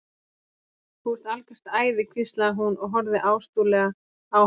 Þú ert algjört æði hvíslaði hún og horfði ástúðlega á hann.